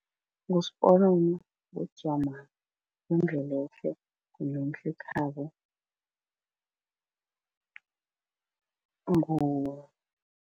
NguSiponono, nguDzwamari, nguNdlelehle, nguNomhlekhabo